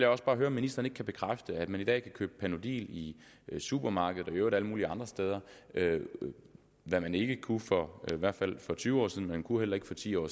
også bare høre om ministeren ikke kan bekræfte at man i dag kan købe panodil i supermarkeder og i øvrigt alle mulige andre steder hvad man ikke kunne for i hvert fald tyve år siden og man kunne heller ikke for ti år